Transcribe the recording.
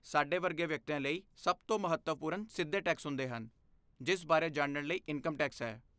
ਸਾਡੇ ਵਰਗੇ ਵਿਅਕਤੀਆਂ ਲਈ, ਸਭ ਤੋਂ ਮਹੱਤਵਪੂਰਨ ਸਿੱਧੇ ਟੈਕਸ ਹੁੰਦੇ ਹਨ ਜਿਸ ਬਾਰੇ ਜਾਣਨ ਲਈ ਇਨਕਮ ਟੈਕਸ ਹੈ।